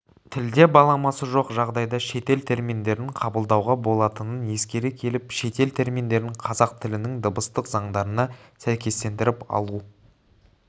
тілде баламасы жоқ жағдайда шетел терминдерін қабылдауға болатынын ескере келіп шетел терминдерін қазақ тілінің дыбыстық заңдарына сәйкестендіріп алу